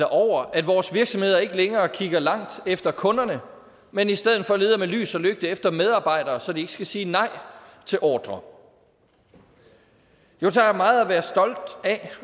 over at vores virksomheder ikke længere kigger langt efter kunderne men i stedet for leder med lys og lygte efter medarbejdere så de ikke skal sige nej til ordrer jo der er meget at være stolt af